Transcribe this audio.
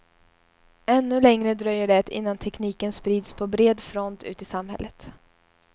Ännu längre dröjer det innan tekniken sprids på bred front ut i samhället.